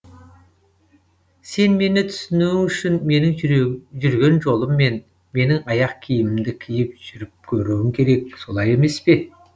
сен мені түсінуің үшін менің жүрген жолыммен менің аяқ киімімді киіп жүріп көруің керек солай емеспе